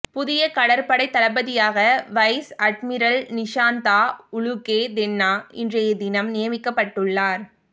புதிய கடற்படைத் தளபதியாக வைஸ் அட்மிரல் நிஷாந்தா உளுகேதென்ன இன்றையதினம் நியமிக்கப்பட்ட்டுள்ளார்